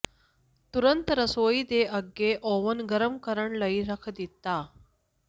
ਤੁਰੰਤ ਰਸੋਈ ਦੇ ਅੱਗੇ ਓਵਨ ਗਰਮ ਕਰਨ ਲਈ ਰੱਖ ਦਿੱਤਾ